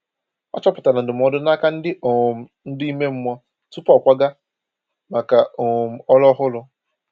O chọpụtara ndụmọdụ n’aka ndi um ndu ime mmụọ tupu ọ kwaga maka um ọrụ ọhụrụ.